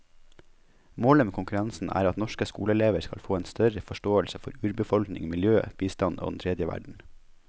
Målet med konkurransen er at norske skoleelever skal få en større forståelse for urbefolkning, miljø, bistand og den tredje verden.